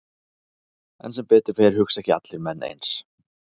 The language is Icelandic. En sem betur fer hugsa ekki allir menn eins.